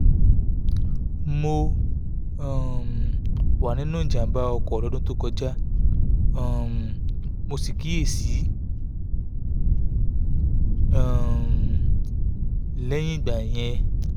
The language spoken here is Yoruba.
mo um wà nínú jàǹbá ọkọ̀ lọ́dún tó kọjá um mo sì kíyè sí um i lẹ́yìn ìgbà yẹn